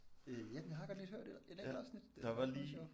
Øh ja jeg har godt lidt hørt et et enkelt afsnit det er faktisk meget sjovt